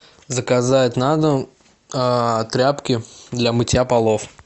заказать на дом тряпки для мытья полов